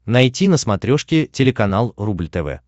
найти на смотрешке телеканал рубль тв